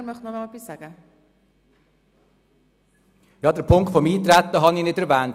der SiK. Ich habe den Punkt des Eintretens nicht erwähnt.